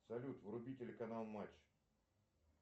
салют вруби телеканал матч